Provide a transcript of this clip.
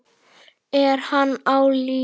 Er hann á lífi?